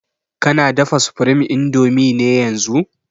Kana dafa supreme indomie ne yanzun>